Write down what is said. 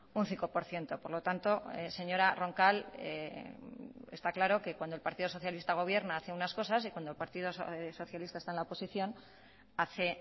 un cinco por ciento por lo tanto señora roncal está claro que cuando el partido socialista gobierna hace unas cosas y cuando el partido socialista está en la oposición hace